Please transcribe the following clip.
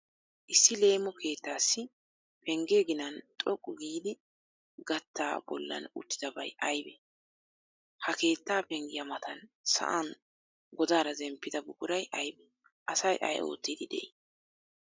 Issi leemo keettaassi pengge ginan xoqqu giidi gattaa bollan uttidabay aybee? Ha keettaa penggiya matan sa'an godaara zemppida buquray aybee? Asay ay oottiiddi de'ii?